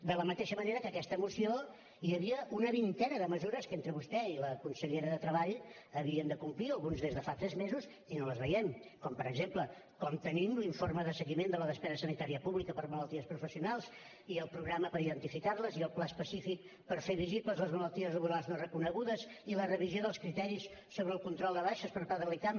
de la mateixa manera que en aquesta moció hi havia una vintena de mesures que entre vostè i la consellera de treball havien de complir algunes des de fa tres mesos i no les veiem com per exemple com tenim l’informe de seguiment de la despesa sanitària pública per a malalties professionals i el programa per identificar les i el pla específic per fer visibles les malalties laborals no reconegudes i la revisió dels criteris sobre el control de baixes per part de l’icam